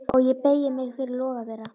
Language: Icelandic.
Og ég beygi mig fyrir loga þeirra.